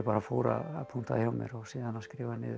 fór að punkta hjá mér og síðan að skrifa niður